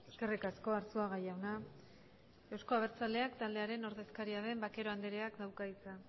eskerrik asko arzuaga jauna euzko abertzaleak taldearen ordezkaria den vaquero andreak dauka hitza